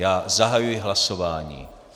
Já zahajuji hlasování.